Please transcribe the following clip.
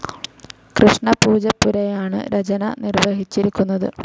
കൃഷ്ണ പൂജപ്പുരയാണ് രചന നിർവ്വഹിച്ചിരിക്കുന്നത്.